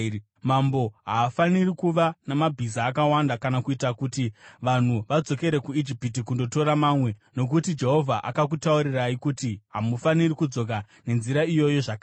Mambo haafaniri kuva namabhiza akawanda kana kuita kuti vanhu vadzokere kuIjipiti kundotora mamwe, nokuti Jehovha akutaurirai kuti, “Hamufaniri kudzoka nenzira iyoyo zvakare.”